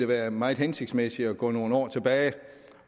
være meget hensigtsmæssigt at gå nogle år tilbage